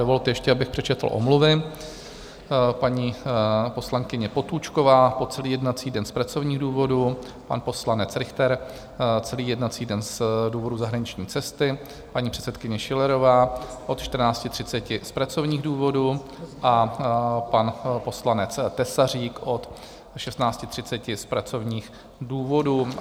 Dovolte ještě, abych přečetl omluvy: paní poslankyně Potůčková po celý jednací den z pracovních důvodů, pan poslanec Richter celý jednací den z důvodu zahraniční cesty, paní předsedkyně Schillerová od 14.30 z pracovních důvodů a pan poslanec Tesařík od 16.30 z pracovních důvodů.